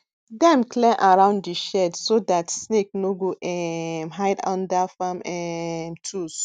dem clear around di shed so dat snake no go um hide under farm um tools